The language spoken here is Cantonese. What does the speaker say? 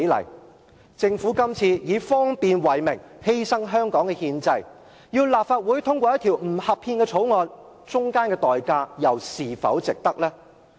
這次政府以方便為名，要立法會通過一項不合憲的法案，當中要付出的憲制代價又是否值得呢？